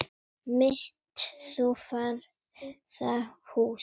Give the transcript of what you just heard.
mitt þú friðar hús.